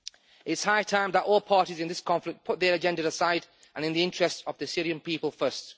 It is high time that all parties in this conflict put their agenda aside and the interests of the Syrian people first.